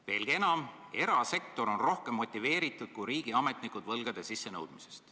Veelgi enam, sa ütlesid, et erasektor on võlgu sisse nõudma rohkem motiveeritud kui riigiametnikud.